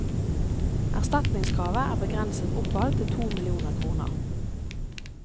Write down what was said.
Erstatningskravet er begrenset oppad til to millioner kroner.